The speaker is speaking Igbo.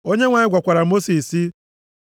Onyenwe anyị gwakwara Mosis sị,